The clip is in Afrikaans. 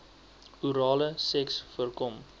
orale seks voorkom